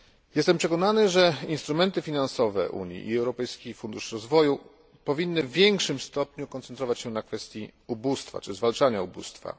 Jestem przekonany, że instrumenty finansowe Unii i Europejski Fundusz Rozwoju powinny w większym stopniu koncentrować się na kwestii zwalczania ubóstwa.